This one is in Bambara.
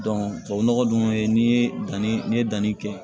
tubabu nɔgɔ dun ye n'i ye danni n'i ye danni kɛ